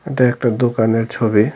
এটা একটা দোকানের ছবি।